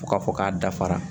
Fo k'a fɔ k'a dafara